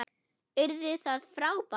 Yrði það frábært?